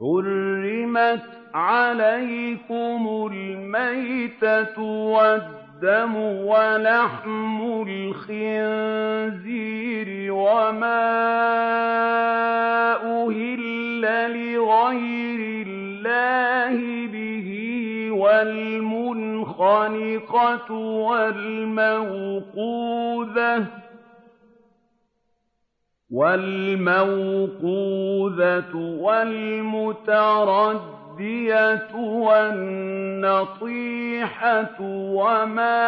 حُرِّمَتْ عَلَيْكُمُ الْمَيْتَةُ وَالدَّمُ وَلَحْمُ الْخِنزِيرِ وَمَا أُهِلَّ لِغَيْرِ اللَّهِ بِهِ وَالْمُنْخَنِقَةُ وَالْمَوْقُوذَةُ وَالْمُتَرَدِّيَةُ وَالنَّطِيحَةُ وَمَا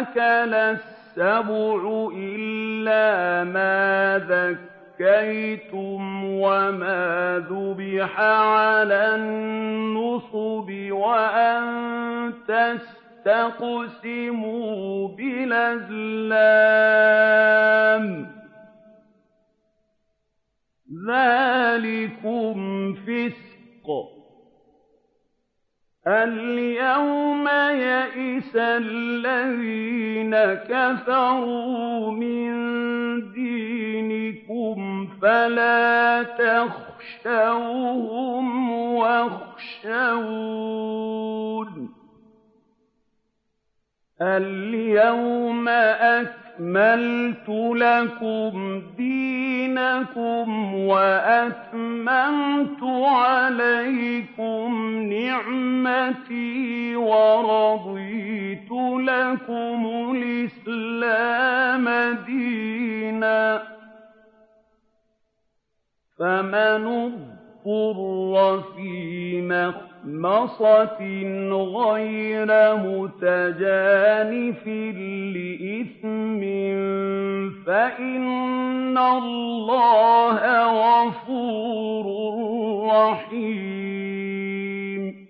أَكَلَ السَّبُعُ إِلَّا مَا ذَكَّيْتُمْ وَمَا ذُبِحَ عَلَى النُّصُبِ وَأَن تَسْتَقْسِمُوا بِالْأَزْلَامِ ۚ ذَٰلِكُمْ فِسْقٌ ۗ الْيَوْمَ يَئِسَ الَّذِينَ كَفَرُوا مِن دِينِكُمْ فَلَا تَخْشَوْهُمْ وَاخْشَوْنِ ۚ الْيَوْمَ أَكْمَلْتُ لَكُمْ دِينَكُمْ وَأَتْمَمْتُ عَلَيْكُمْ نِعْمَتِي وَرَضِيتُ لَكُمُ الْإِسْلَامَ دِينًا ۚ فَمَنِ اضْطُرَّ فِي مَخْمَصَةٍ غَيْرَ مُتَجَانِفٍ لِّإِثْمٍ ۙ فَإِنَّ اللَّهَ غَفُورٌ رَّحِيمٌ